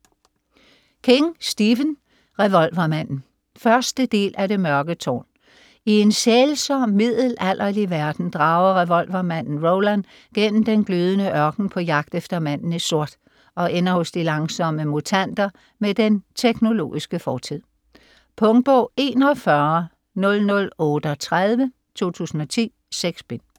King, Stephen: Revolvermanden 1. del af Det mørke tårn. I en sælsom middelalderlig verden drager revolvermanden Roland gennem den glødende ørken på jagt efter manden i sort og ender hos de langsomme mutanter med den teknologiske fortid. Punktbog 410038 2010. 6 bind.